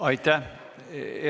Aitäh!